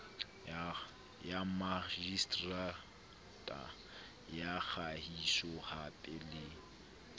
ya makgiseterata ya kagisohape le